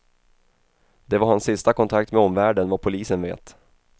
Det var hans sista kontakt med omvärlden, vad polisen vet.